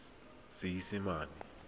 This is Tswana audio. seesimane